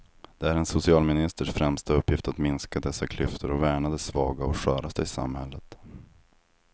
Det är en socialministers främsta uppgift att minska dessa klyftor och värna de svaga och sköraste i samhället.